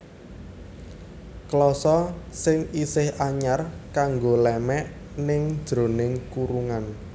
Klasa sing isih anyar kanggo lémèk ning jeroning kurungan